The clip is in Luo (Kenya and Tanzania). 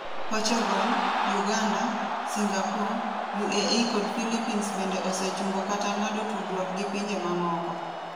Portugal, Uganda, Singapore, UAE kod Philippines bende osechungo kata ng'ado tudruok gi pinje mamoko.